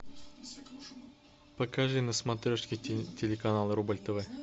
покажи на смотрешке телеканал рубль тв